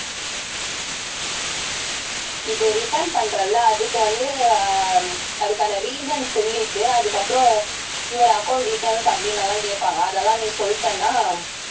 இது return பண்றேல்ல அதுக்கு வந்து அஹ் அதுக்கான reason சொல்லிட்டு அதுக்கப்புறம் your account details அப்படின்னு எல்லாம் கேட்பாங்க அதெல்லாம் நீ சொல்லிட்டேன்னா